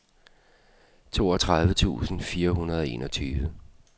toogtredive tusind fire hundrede og enogtyve